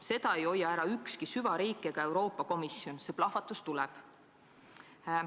Seda ei hoia ära ükski süvariik ega Euroopa Komisjon, see plahvatus tuleb.